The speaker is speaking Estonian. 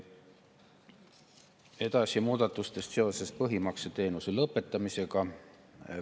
Edasi muudatustest seoses põhimakseteenuse lõpetamisega.